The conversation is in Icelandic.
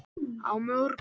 Á morgun